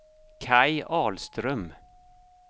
Kaj Ahlström